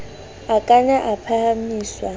a ka na a phahamiswa